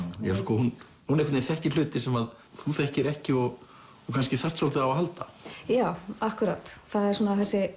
hún þekkir hluti sem þú þekkir ekki og kannski þarft svolítið á að halda já akkúrat það er svona þessi